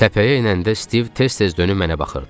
Təpəyə enəndə Stiv tez-tez dönüb mənə baxırdı.